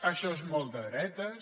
això és molt de dretes